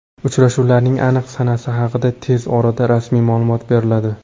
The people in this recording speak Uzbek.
Uchrashuvlarning aniq sanasi haqida tez orada rasmiy ma’lumot beriladi.